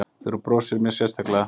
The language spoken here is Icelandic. Þegar þú brosir mér sérstaklega.